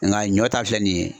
Nga ɲɔ ta filɛ nin ye